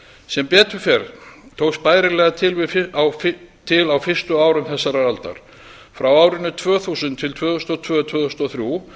sem betur fer tókst bærilega til á fyrstu árum þessarar aldar frá árinu tvö þúsund til tvö þúsund og tvö tvö þúsund og þrjú